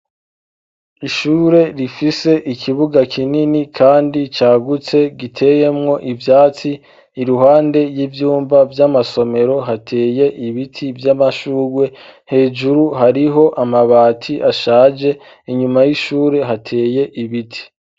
Ishure rifise ikibuga kinini, kandi cagutse giteyemwo ivyatsi i ruhande y'ivyumva vy'amasomero hateye ibiti vy'amashurwe hejuru hariho amabati ashaje inyuma y'ishure hateye ibiti.